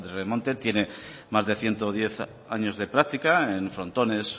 remonte tiene más de ciento diez años de práctica en frontones